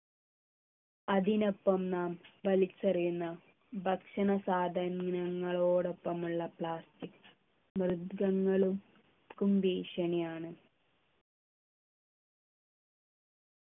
അതിനൊപ്പം നാം വലിച്ചെറിയുന്ന ഭക്ഷണ സാധനങ്ങളോടൊപ്പം ഉള്ള plastic മൃഗങ്ങൾ ക്കും ഭീഷണിയാണ്